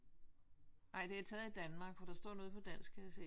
Ej det er taget i Danmark for der står noget på dansk kan jeg se